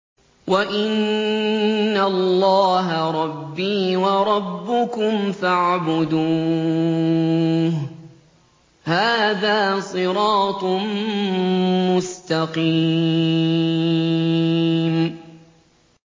وَإِنَّ اللَّهَ رَبِّي وَرَبُّكُمْ فَاعْبُدُوهُ ۚ هَٰذَا صِرَاطٌ مُّسْتَقِيمٌ